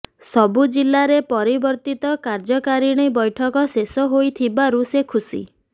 ସବୁଜିଲ୍ଲାରେ ପରିବର୍ଦ୍ଧିତ କାର୍ଯ୍ୟକାରିଣୀ ବୈଠକ ଶେଷ ହୋଇଥିବାରୁ ସେ ଖୁସି